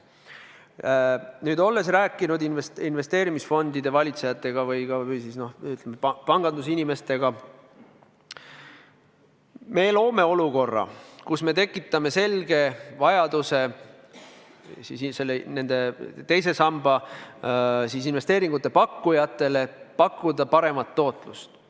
Nüüd, olles rääkinud investeerimisfondide valitsejatega või siis pangandusinimestega, me loome olukorra, kus me tekitame selge vajaduse pakkuda teise sambasse maksjatele paremat tootlust.